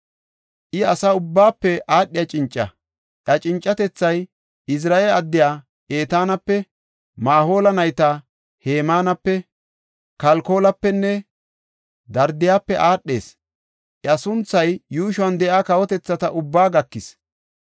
I asa ubbaafe aadhiya cinca; iya cincatethay, Ezirahe addiya Etaanape, Mahoola nayta Hemaanape, Kalkolapenne Darda7ape aadhees. Iya sunthay yuushuwan de7iya kawotethata ubbaa gakis.